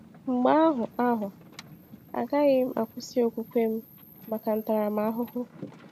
Mgbe ahụ, ahụ, agaghị m akwụsị okwukwe m maka ntaramahụhụ.